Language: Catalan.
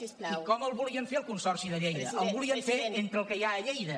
i com el volien fer el consorci de lleida el volien fer entre el que hi ha lleida